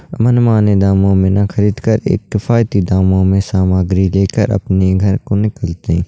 मन-माने दामों में ना खरीद कर एक केफायती दामों में सामग्री लेकर अपने घर को निकलते हैं।